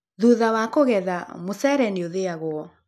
Thutha wa kũgetha, mũcere nĩũthĩagwo